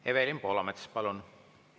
Evelin Poolamets, palun!